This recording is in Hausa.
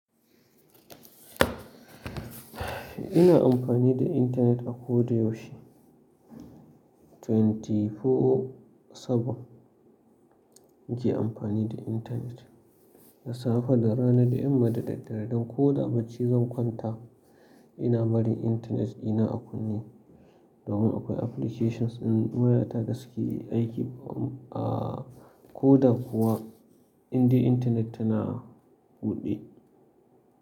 Ina amfani da internet a ko da yaushe. 24/7 muke amfani da internet. Da safe, da rana, da yamma, da daddare don ko da abin da zan kwanta ina bari internet dina a kunne. Domin akwai applications in wayata da suke aiki, aa ko da kuwa inda internet tana buɗe.